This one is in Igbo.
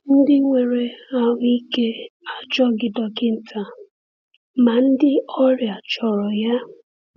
“Ndị nwere ahụ ike achọghị dọkịta, ma ndị ọrịa chọrọ ya.”